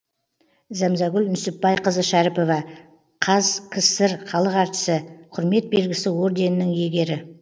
зәмзәгүл нүсіпбайқызы шәріпова қазкср халық әртісі құрмет белгісі орденінің иегері